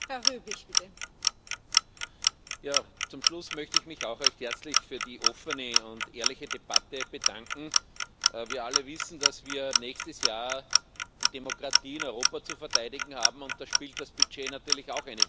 Frau Präsidentin! Zum Schluss möchte ich mich auch recht herzlich für die offene und ehrliche Debatte bedanken. Wir alle wissen, dass wir nächstes Jahr die Demokratie in Europa zu verteidigen haben, und da spielt das Budget natürlich auch eine wesentliche Rolle.